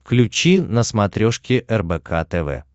включи на смотрешке рбк тв